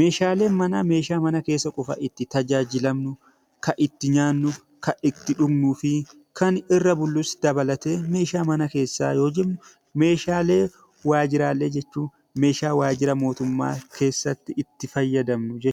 meeshaaleen manaa, meeshaa mana keessa qofa itti tajaajilamnu yoo ta'u, kan itti nyaannu, kan itti dhugnuu fi kan irra bullus dabalatee 'Meeshaa mana keessaa' yoo jennu; Meeshaalee waajjiraalee jechuun meeshaa waajjira mootummaa keessatti itti fayyadamnu jechuu dha.